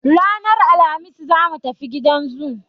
Ranar Alhamis za mu tafi gidan zoo.